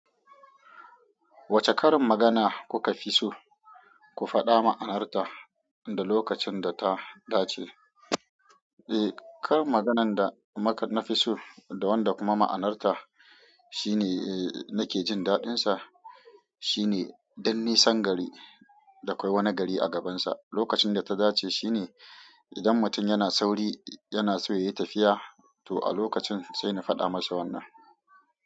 Wacce karin magana kuka fi so? Ku faɗa ma'anarta, da lokacin da ta dace? Eh, karin maganar da, mak, nafi so, da wanda kuma ma'anar ta, shine nake jin daɗin sa shine "dun nisan gari, da a kwai wani gari a gabansa". Lokacin da ta dace shine idan mutum yana sauri, yana so ya yi tafiya, to a lokacin sai na faɗa masa wannan.